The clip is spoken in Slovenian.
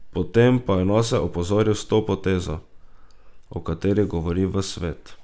Potem pa je nase opozoril s tole potezo, o kateri govori ves svet.